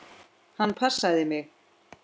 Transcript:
Hann passaði mig.